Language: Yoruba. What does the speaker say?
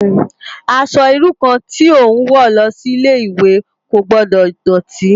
Aṣò irú kàn ti ó n wò lòsi Ilé iwé kó gbòdò dòtí